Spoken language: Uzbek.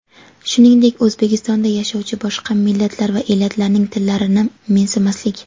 shuningdek O‘zbekistonda yashovchi boshqa millatlar va elatlarning tillarini mensimaslik:.